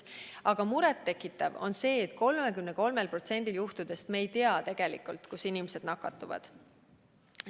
Aga muret tekitav on see, et 33%-l juhtudest me ei tea tegelikult, kus inimesed nakatuvad.